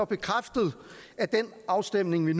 bekræftet at den afstemning vi